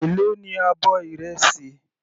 Èló ní abọ́ ìrẹsì.